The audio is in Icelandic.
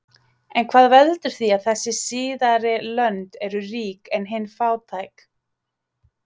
En hvað veldur því að þessi síðari lönd eru rík en hin fátæk?